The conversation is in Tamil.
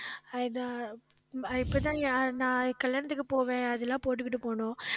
ஆஹ் இத அஹ் இப்பதான் நான் கல்யாணத்துக்கு போவேன் அது எல்லாம் போட்டுக்கிட்டு போவணும்